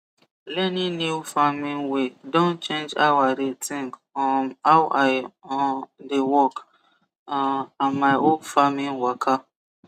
learning new farming way don change how i dey think um how i um dey work um and my whole farming waka